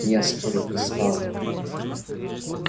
я спорить не стал